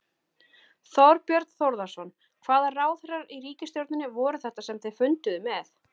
Þorbjörn Þórðarson: Hvaða ráðherrar í ríkisstjórninni voru þetta sem þið funduðuð með?